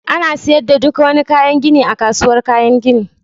Ana siyar da duk wani kayan gini a kasuwar kayan gini